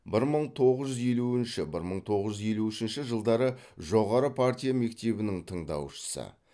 бір мың тоғыз жүз елуінші бір мың тоғыз жүз елу үшінші жылдары жоғары партия мектебінің тыңдаушысы